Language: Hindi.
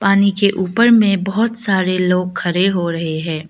पानी के ऊपर में बहुत सारे लोग खड़े हो रहे हैं।